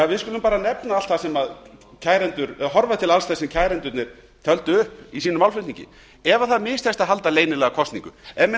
við skulum bara horfa til alls þess sem kærendurnir töldu upp í sínum málflutningi ef það mistekst að halda leynilega kosningu ef menn